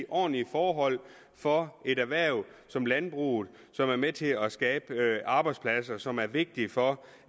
ordentlige forhold for et erhverv som landbruget som er med til at skabe arbejdspladser som er vigtige for